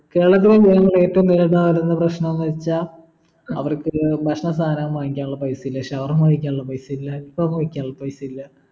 കേരളത്തിലെ ജനങ്ങളുടെ ഏറ്റവും വലുതായിരുന്ന പ്രശ്നോന്ന് വെച്ച അവർക്കൊരു ഭക്ഷണ സാധനം വാങ്ങിക്കാനുള്ള പൈസ ഇല്ല ഷവർമ്മ കഴിക്കാനുള്ള പൈസയില്ല ആൽഫം കഴിക്കാനുള്ള പൈസയില്ല